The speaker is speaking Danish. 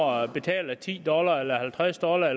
og betaler ti dollar eller halvtreds dollar